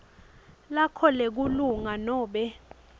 lakho lebulunga nobe